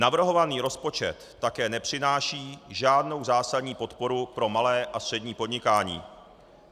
Navrhovaný rozpočet také nepřináší žádnou zásadní podporu pro malé a střední podnikání.